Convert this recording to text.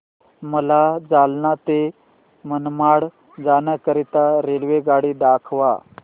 मला जालना ते मनमाड जाण्याकरीता रेल्वेगाडी दाखवा